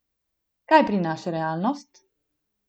Kaj prinaša realnost?